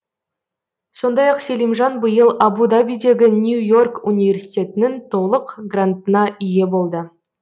сондай ақ селимжан биыл абу дабидегі нью и орк университетінің толық грантына ие болды